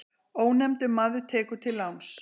Ónefndur maður tekur til láns.